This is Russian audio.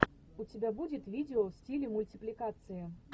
у тебя будет видео в стиле мультипликация